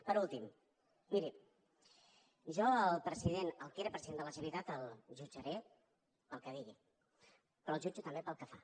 per últim miri jo el que era president de la generalitat el jutjaré pel que digui però el jutjo també pel que fa